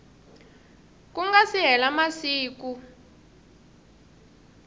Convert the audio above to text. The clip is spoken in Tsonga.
ku nga si hela masiku